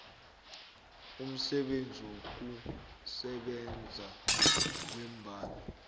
umsebenzi wokusebenza ngeembawo